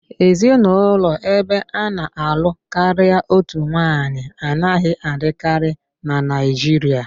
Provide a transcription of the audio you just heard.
Ezinụlọ ebe ana-alụ karịa otu nwanyị anaghị adịkarị na Naịjirịa